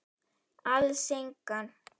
Alls engan.